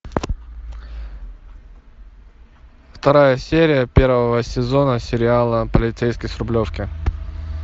вторая серия первого сезона сериала полицейский с рублевки